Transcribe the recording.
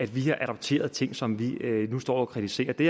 at vi har adopteret ting som vi nu står og kritiserer det